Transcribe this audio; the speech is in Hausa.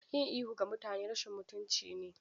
Yin ihu ga mutane rashin mutunci ne.